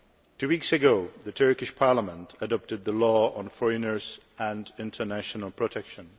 Two weeks ago the Turkish Parliament adopted the Law on Foreigners and International Protection.